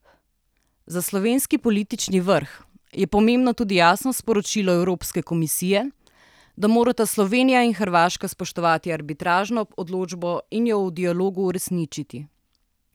Za slovenski politični vrh je pomembno tudi jasno sporočilo Evropske komisije, da morata Slovenija in Hrvaška spoštovati arbitražno odločbo in jo v dialogu uresničiti.